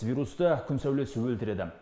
вирусты күн сәулесі өлтіреді